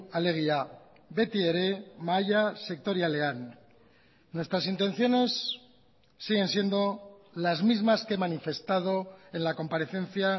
alegia beti ere mahaia sektorialean nuestras intenciones siguen siendo las mismas que he manifestado en la comparecencia